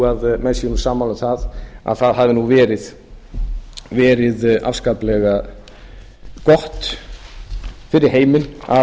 að menn séu sammála um það að það hafi nú verið afskaplega gott fyrir heiminn að